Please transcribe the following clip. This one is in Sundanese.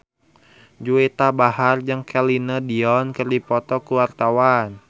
Juwita Bahar jeung Celine Dion keur dipoto ku wartawan